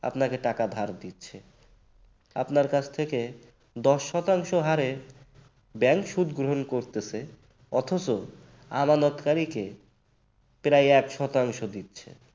আপনাকে টাকা ধার দিচ্ছে। আপনার কাছ থেকে দশ শতাংশ হারে bank সুদ গ্রহণ করতেছে অথচ আমানতকারীকে এক শতাংশ দিচ্ছে